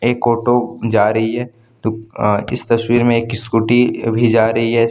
एक ऑटो जा रही है तो अह इस तस्वीर में एक स्कूटी भी जा रही है।